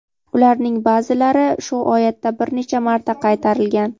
Ularning ba’zilari shu oyatda bir necha marta qaytarilgan.